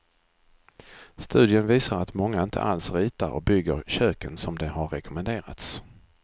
Studien visar att många inte alls ritar och bygger köken som det har rekommenderats.